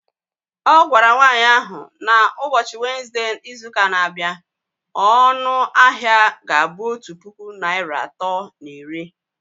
Ọ gwara nwanyị ahụ na ụbọchị Wenezde izuụka na-abịa, ọnụ ahịa ga-abụ otu puku naịra atọ na iri